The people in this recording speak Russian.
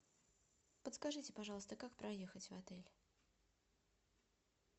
подскажите пожалуйста как проехать в отель